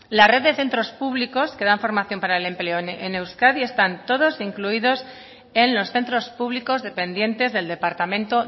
la red de centros públicos que dan formación para el empleo en euskadi están todos incluidos en los centros públicos dependientes del departamento